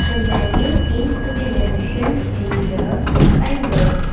the menu seems to be mentioned in the sign board.